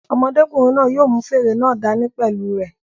Ọmọdékùnrin náà yóò mú fèrè náà dá ní pẹ̀lú u rẹ̀